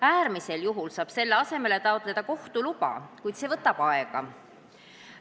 Äärmisel juhul saab selle asemel taotleda kohtu luba, kuid see võtab aega.